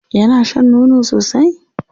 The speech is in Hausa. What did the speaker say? Yana shan nono sosai?